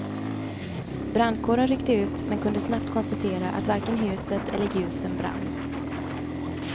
Brandkåren ryckte ut men kunde snabbt konstatera att varken huset eller ljusen brann.